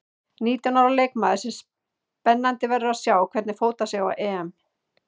Nítján ára leikmaður sem spennandi verður að sjá hvernig fótar sig á EM.